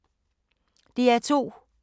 DR2